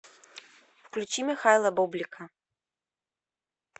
включи михаила бублика